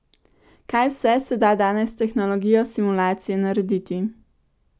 Kaj vse se da danes s tehnologijo simulacije narediti!